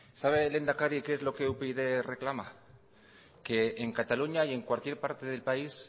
sabe lehendakari que es lo que upyd reclama que en cataluña y en cualquier parte del país